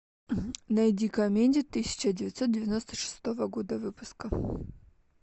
найди комедии тысяча девятьсот девяносто шестого года выпуска